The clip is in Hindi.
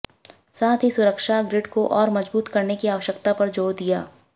साथ ही सुरक्षा ग्रिड को और मजबूत करने की आवश्यकता पर जोर दिया